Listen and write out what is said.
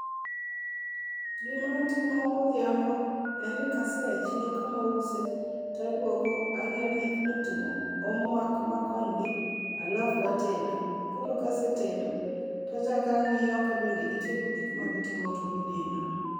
Gima atimo godhiambo en ni kasea e chiro kama ause to aduogo ang'iyo ni nyithindo otimo homework makony gi alafu atedo. Koro kasetedo achako ang'iyo kabende gitieko gik magitimo to ginindo.